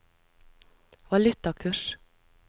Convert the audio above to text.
valutakurs